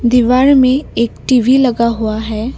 दीवार में एक टी_वी लगा हुआ है।